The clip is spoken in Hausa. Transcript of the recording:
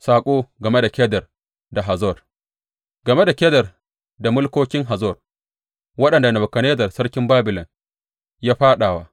Saƙo game da Kedar da Hazor Game da Kedar da mulkokin Hazor, waɗanda Nebukadnezzar sarkin Babilon ya fāɗa wa.